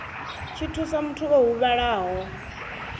tshi thusa muthu o huvhalaho